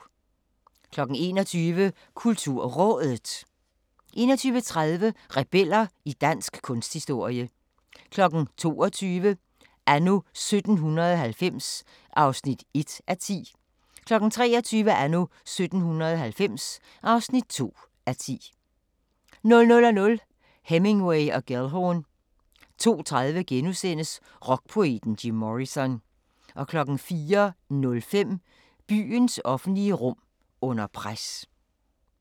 21:00: KulturRådet 21:30: Rebeller i dansk kunsthistorie 22:00: Anno 1790 (1:10) 23:00: Anno 1790 (2:10) 00:00: Hemingway & Gellhorn 02:30: Rockpoeten Jim Morrison * 04:05: Byens offentlige rum under pres